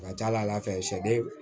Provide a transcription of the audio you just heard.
A ka ca ala fɛ